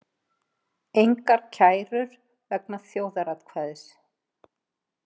Engar kærur vegna þjóðaratkvæðis